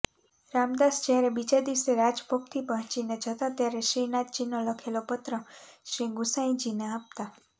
રામદાસ જયારે બીજા દિવસે રાજભોગથી પહોંચીને જતા ત્યારે શ્રીનાથજીનો લખેલો પત્ર શ્રીગુંસાઈજીને આપતા